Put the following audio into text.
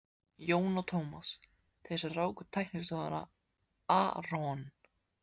Jón og Tómas, þeir sem ráku teiknistofuna aRON